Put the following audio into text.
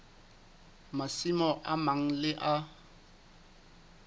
masimo a mang le a